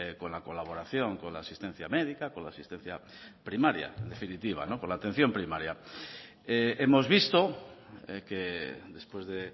con la colaboración con la asistencia médica con la asistencia primaria en definitiva con la atención primaria hemos visto que después de